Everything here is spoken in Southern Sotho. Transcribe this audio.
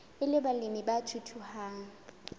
e le balemi ba thuthuhang